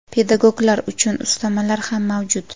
Pedagoglar uchun ustamalar ham mavjud.